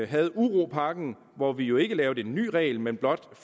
havde uropakken hvor vi jo ikke lavede en ny regel men blot